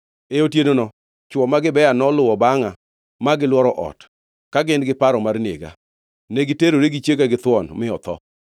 E otienono chwo ma Gibea noluwo bangʼa ma gilworo ot, ka gin giparo mar nega. Negiterore gi chiega githuon, mi otho.